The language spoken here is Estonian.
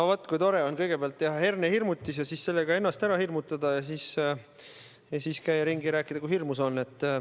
No vaat kui tore on kõigepealt teha hernehirmutis, seejärel ennast sellega ära hirmutada ning siis käia ringi ja rääkida, kui hirmus see on.